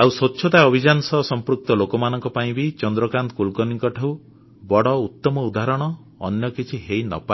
ଆଉ ସ୍ୱଚ୍ଛତା ଅଭିଯାନ ସହ ସମ୍ପୃକ୍ତ ଲୋକମାନଙ୍କ ପାଇଁ ବି ଚନ୍ଦ୍ରକାନ୍ତ କୁଲକର୍ଣ୍ଣୀଙ୍କଠୁ ବଡ଼ ଉତ୍ତମ ଉଦାହରଣ ଅନ୍ୟ କିଛି ହେଇନପାରେ